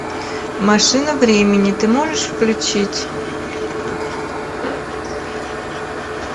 машина времени ты можешь включить